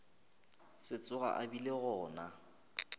se tsoge a bile gona